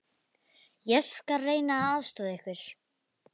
Ég skal reyna að aðstoða ykkur.